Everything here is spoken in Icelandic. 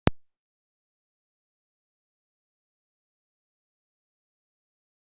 Því má spyrja, eru lækkanir framundan á íbúðamarkaði?